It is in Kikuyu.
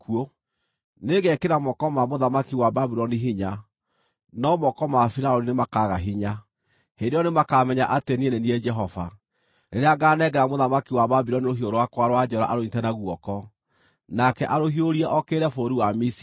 Nĩngekĩra moko ma mũthamaki wa Babuloni hinya, no moko ma Firaũni nĩmakaaga hinya. Hĩndĩ ĩyo nĩmakamenya atĩ niĩ nĩ niĩ Jehova, rĩrĩa ngaanengera mũthamaki wa Babuloni rũhiũ rwakwa rwa njora arũnyiite na guoko, nake arũhiũrie okĩrĩre bũrũri wa Misiri.